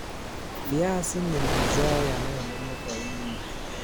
Viazi ni mazao yanayolimwa kwa wingi nchini.